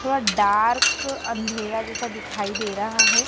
थोड़ा डार्क अंधेरा जैसा दिखाई दे रहा है।